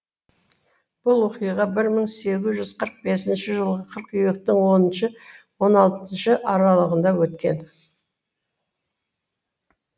бұл оқиға бір мың сегіз жүз қырық бесінші жылғы қыркүйектің оныншы он алтыншы сы аралығында өткен